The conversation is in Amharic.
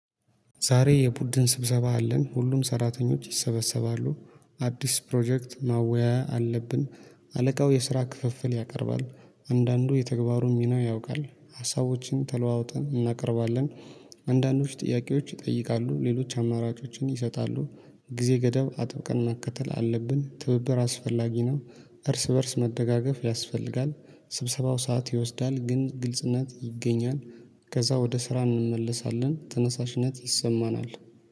ዛሬ የቡድን ስብሰባ አለን ሁሉም ሰራተኞች ይሰበሰባሉ አዲስ ፕሮጀክት ማወያያ አለብን። አለቃው የስራ ክፍፍል ያቀርባል አንዳንዱ የተግባሩን ሚና ያውቃል ሀሳቦችን ተለዋውጠን እናቀርባለን። አንዳንዶች ጥያቄዎች ይጠይቃሉ ሌሎች አማራጮችን ይሰጣሉ ጊዜ ገደብ አጥብቀን መከተል አለብን ትብብር አስፈላጊ ነው። እርስ በእርስ መደጋገፍ ያስፈልጋል ስብሰባው ሰዓት ይወስዳል ግን ግልጽነት ይገኛል። ከዛ ወደ ስራ እንመለሳለን ተነሳሽነት ይሰማናል